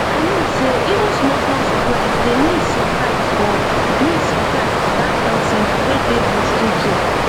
i mean sey even smallsmall supplies dey miss sometimes for miss sometimes for that health center wey dey bush truetrue